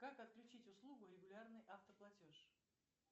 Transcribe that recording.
как отключить услугу регулярный автоплатеж